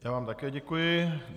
Já vám také děkuji.